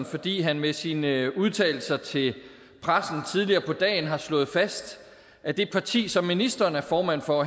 fordi han med sine udtalelser til pressen tidligere på dagen har slået fast at det parti som ministeren er formand for